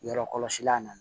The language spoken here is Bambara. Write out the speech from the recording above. Yɔrɔ kɔlɔsila na